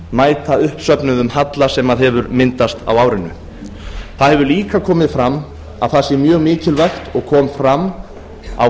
mæta uppsöfnuðum halla sem hefur myndast á árinu það hefur líka komið fram að það sé mjög mikilvægt og kom fram á